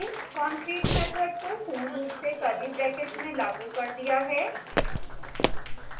concrete method को पूर्ण रूप से curly brackets में लागू कर दिया है